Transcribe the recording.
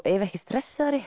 ef ekki stressaðri